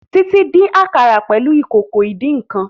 Titi dín àkàrà pẹlú Ìkòkò ìdín-nǹkan